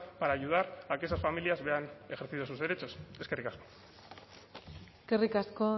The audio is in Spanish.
para ayudar a que esas familias vean ejercidos sus derechos eskerrik asko eskerrik asko